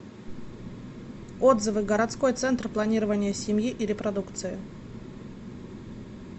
отзывы городской центр планирования семьи и репродукции